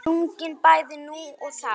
Sungin bæði nú og þá.